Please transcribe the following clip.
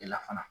E la fana